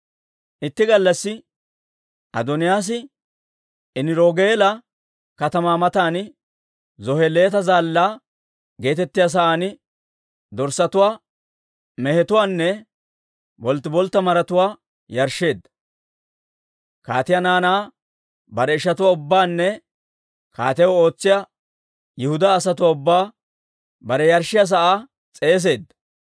Itti gallassi Adooniyaas Eniroogeela katamaa matan Zoheleeta Zaallaa geetettiyaa sa'aan dorssatuwaa, mehetuwaanne bolttiboltta maratuwaa yarshsheedda. Kaatiyaa naanaa bare ishatuwaa ubbaanne kaatiyaw ootsiyaa Yihudaa asatuwaa ubbaa bare yarshshiyaa sa'aa s'eeseedda;